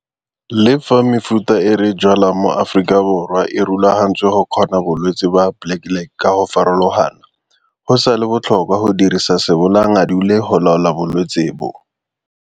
Le fa mefuta e re e jwalang mo Afrikaborwa e rulagantswe go kgona bolwetse ba Blackleg ka go farologana, go sa le botlhokwa go dirisa sebolayanngadule go laola bolwetse bo.